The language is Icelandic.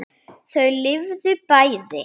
Þau lifðu bæði.